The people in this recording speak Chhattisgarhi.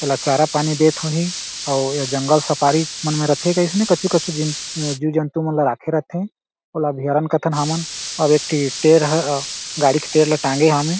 एला चारा पानी देत होही अउ ये जंगल सफारी मन में रथे अइसने कछु-कछु जीव जीव-जंतु मन ला रखे रथे ओला अभ्यारण कथन हमन अउ एक ठी टेर गाड़ी के टेर ला टांगे हावे।